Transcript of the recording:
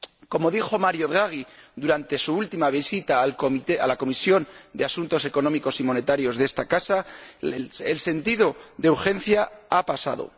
Como dijo Mario Draghi durante su última visita a la Comisión de Asuntos Económicos y Monetarios de esta Casa, el sentido de urgencia ha pasado.